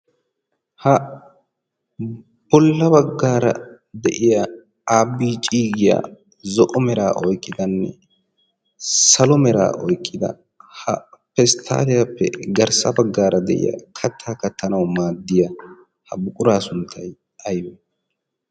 ha bolla baggaara de'iya abicidiya zo'o meraa oiqqidanne salo meraa oyqqida ha pesttaaliyaappe garssa baggaara de'iya kattaa kattanau maaddiya ha buquraa sunttay aybee?